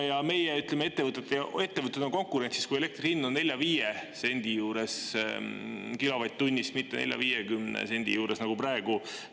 Ja meie ettevõtted on konkurentsis siis, kui elektri hind on 4–5 sendi juures kilovatt-tunnist, mitte 40–50 sendi juures nagu praegu.